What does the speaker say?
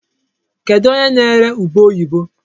Kedụ onye na-ere ube oyibo?